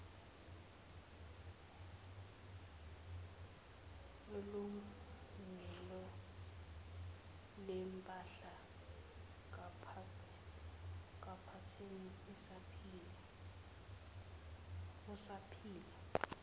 kwilungelolempahla kaphathini osaphila